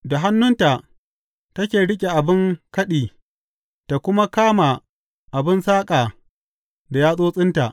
Da hannunta take riƙe abin kaɗi ta kuma kama abin saƙa da yatsotsinta.